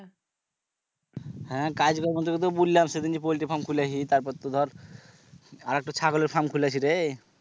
হ্যাঁ, কাজ কর্ম তোকে তো বুলালাম সেদিনই পোল্টির farm খুলেছি তারপর তো ধর আরেকটা ছাগলের farm খুলেছি রে